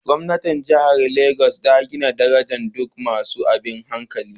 Gwamnan jihar Legas ya gina gidajen duk masu tabin hankali.